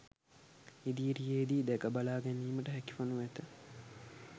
ඉදිරියේදී දැකබලා ගැනීමට හැකි වනු ඇත